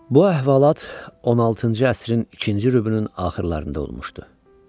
Bu əhvalat 16-cı əsrin ikinci rübünün axırlarında olmuşdu.